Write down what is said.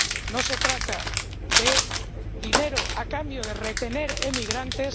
no se trata de dinero a cambio de retener emigrantes.